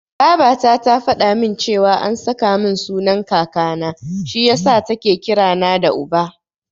Babata ta faɗa min cewa an saka min sunan Kakana, shi yasa take kira na da Uba.